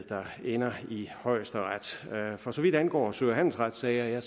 ender i højesteret for så vidt angår sø og handelsretssager